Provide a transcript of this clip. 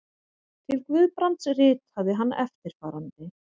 Til Guðbrands ritaði hann eftirfarandi